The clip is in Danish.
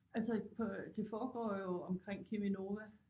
Altså på det foregår jo omkring Cheminova